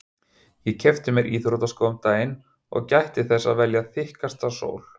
Ég keypti mér íþróttaskó um daginn og gætti þess að velja þykkasta sól